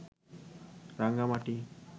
Rangamati